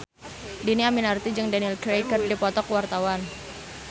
Dhini Aminarti jeung Daniel Craig keur dipoto ku wartawan